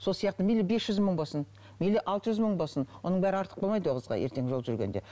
сол сияқты мейлі бес жүз мың болсын мейлі алты жүз мың болсын оның бәрі артық болмайды ол қызға ертең жол жүргенде